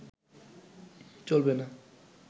চলবে না